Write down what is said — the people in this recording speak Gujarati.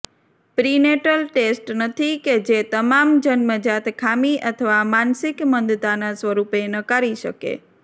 પ્રિનેટલ ટેસ્ટ નથી કે જે તમામ જન્મજાત ખામી અથવા માનસિક મંદતાના સ્વરૂપોને નકારી શકે